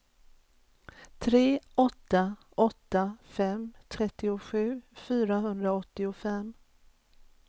tre åtta åtta fem trettiosju fyrahundraåttiofem